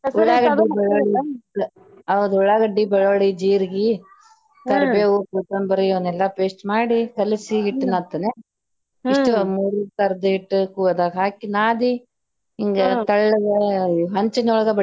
ಹೌದ ಉಳ್ಳಾಗಡ್ಡಿ, ಬೆಳ್ಳುಳ್ಳಿ, ಜೀರಗಿ, ಕರಿಬೇವ್, ಕೊತ್ತಂಬರಿ ಇವನೆಲ್ಲಾ paste ಮಾಡಿ ಕಲಿಸಿ ಹಿಟ್ಟ ನಾದತೇನ ಅಷ್ಟ ಮೂರು ತರದ ಹಿಟ್ಟ ಅದ್ರಾಗ ಹಾಕಿ ನಾದಿ ಹಿಂಗ ತಳ್ಳಗ ಹಂಚಿನೊಳಗ.